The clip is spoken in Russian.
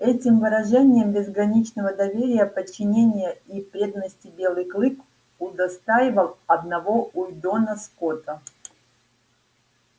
этим выражением безграничного доверия подчинения и преданности белый клык удостаивал одного уидона скотта